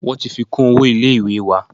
Wọ́n ti fi kún owó ilé ìwé wa.